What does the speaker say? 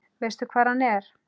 Veistu hvar hann er?